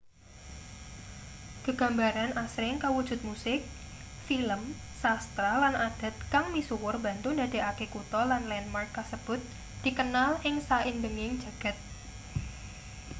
gegambaran asring kawujud musik film sastra lan adat kang misuwur mbantu ndadekake kutha lan landmark kasebut dikenal ing saindenging jagad